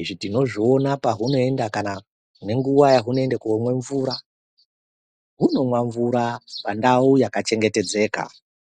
izvi tinozviona pahunoenda kana nenguwa yahunoenda komwa mvura hunomwa mvura pandau yakachengetedzeka.